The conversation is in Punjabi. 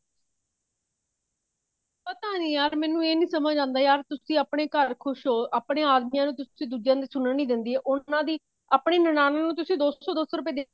ਪਤਾ ਨੀ ਯਰ ਮੈਨੂੰ ਇਹ ਨੀ ਸਮਝ ਆਉਂਦਾ ਤੁਸੀਂ ਆਪਣੇ ਘਰ ਖੁਸ਼ ਹੋ ਆਪਣੇ ਆਦਮਿਆਂ ਨੂੰ ਤੁਸੀਂ ਦੂਜਿਆਂ ਦੀ ਸੁਣਨ ਨੀ ਦਿੰਦੇ ਉਹਨਾ ਦੀ ਆਪਣੀ ਨਨਾਣ ਨੂੰ ਤੁਸੀਂ ਦੋ ਸੋ ਦੋ ਸੋ ਰੁਪੇ